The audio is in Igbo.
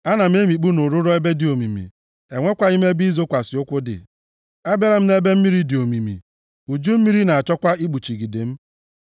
Ana m emikpu nʼụrụrọ ebe dị omimi, e nwekwaghị ebe ịzọkwasị ụkwụ dị. Abịala m nʼebe mmiri dị omimi; uju mmiri na-achọkwa ikpuchigide m.